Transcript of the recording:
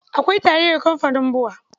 Akwai taliyar kamfanin BUA